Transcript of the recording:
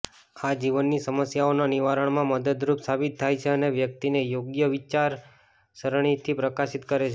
આ જીવનની સમસ્યાઓના નિવારણમાં મદદરૂપ સાબિત થાય છે અને વ્યક્તિને યોગ્ય વિચારસરણીથી પ્રકાશિત કરે છે